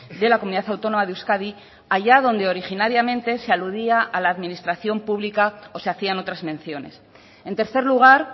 de la comunidad autónoma de euskadi allá donde originariamente se aludía a la administración pública o se hacían otras menciones en tercer lugar